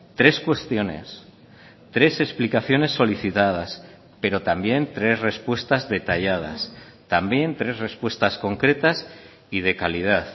tres cuestiones tres explicaciones solicitadas pero también tres respuestas detalladas también tres respuestas concretas y de calidad